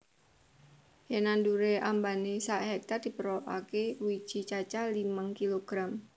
Yen nandure ambane sak hektar diperlokake wiji cacah limang kilogram